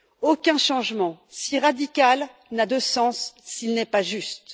Aucun changement si radical n'a de sens s'il n'est pas juste.